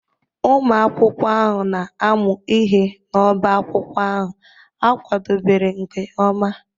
Ụmụ akwụkwọ ahụ na-amụ ihe n'obá akwụkwọ ahụ a kwadebere nke ọma.